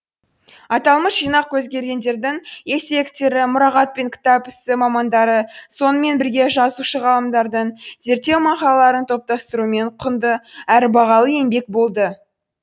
аталмыш жинақ көзкөргендердің естеліктері мұрағат пен кітап ісі мамандары сонымен бірге жазушы ғалымдардың зерттеу мақалаларын топтастырумен құнды әрі бағалы еңбек болды